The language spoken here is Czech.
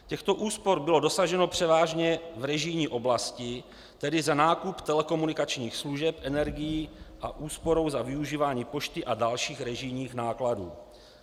Těchto úspor bylo dosaženo převážně v režijní oblasti, tedy za nákup telekomunikačních služeb, energií a úsporou za využívání pošty a dalších režijních nákladů.